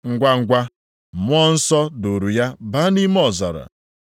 Ngwangwa, Mmụọ Nsọ duuru ya baa nʼime ọzara.